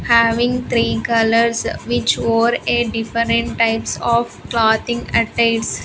having three colours which wore a different type of clothing attires.